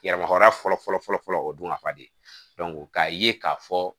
Yɛrɛmara fɔlɔ fɔlɔ fɔlɔ o dun ka fa de k'a ye k'a fɔ